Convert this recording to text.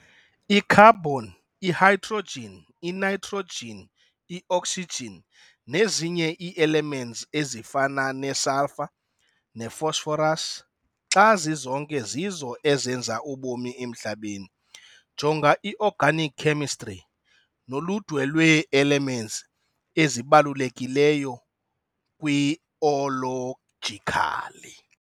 I-Carbon, i-hydrogen, i-nitrogen, i-oxygen, nezinye ii-elements ezifana ne-sulfur ne-phosphorus xa zizonke zizo ezenza ubomi emhlabeni, jonga i-Organic chemistry noludwe lwee-elements ezibalulekileyo kwi-ologically.